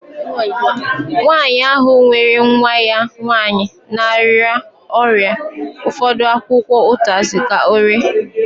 Nwanyị ahụ nyere nwa ya nwanyị na-arịa ọrịa ụfọdụ akwụkwọ utazi ka ọ rie